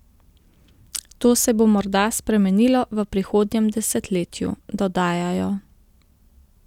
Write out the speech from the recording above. To se bo morda spremenilo v prihodnjem desetletju, dodajajo.